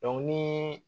ni